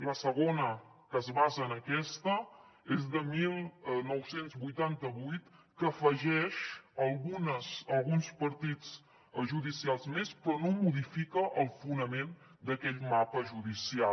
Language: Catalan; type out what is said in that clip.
la segona que es basa en aquesta és de dinou vuitanta vuit que afegeix alguns partits judicials més però no modifica el fonament d’aquell mapa judicial